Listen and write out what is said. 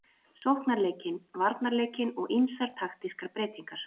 Sóknarleikinn, varnarleikinn og ýmsar taktískar breytingar.